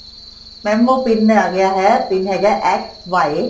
mam ਉਹ PIN ਆ ਗਿਆ ਹੈ PIN ਹੈਗਾ x y